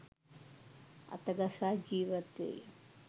අතගසා ජීවත්වෙයි